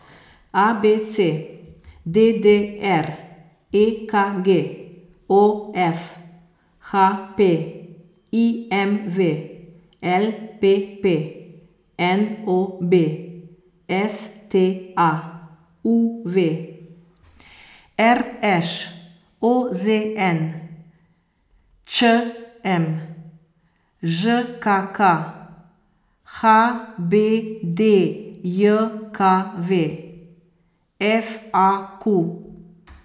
A B C; D D R; E K G; O F; H P; I M V; L P P; N O B; S T A; U V; R Š; O Z N; Č M; Ž K K; H B D J K V; F A Q.